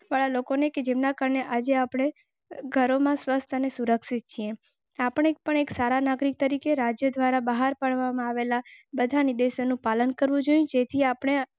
પર લોકોને કેમ ના કરીને આજે આપણે ઘરોમાં સ્વસ્થ અને સુરક્ષિત આપને પણ એક સારા નાગરિક તરીકે રાજ્ય દ્વારા બહાર પાડવામાં આવેલા બધા નિર્દેશોનું પાલન કરવું જોઇએ જેથી આપને.